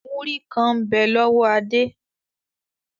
Múrí kàn ń bẹ lọ́wọ́ Adé.